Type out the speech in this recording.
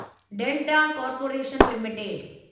delta corporation limited